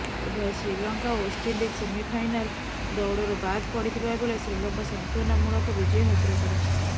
ଉଭୟ ଶ୍ରୀଲଙ୍କା ଓ West Indies semifinal ଦୌଡ଼ରୁ ବାଦ୍ ପଡ଼ିଥିବା ବେଳେ ଶ୍ରୀଲଙ୍କା ସାନ୍ତ୍ବନାମୂଳକ ବିଜୟ ହାସଲ କରିଛି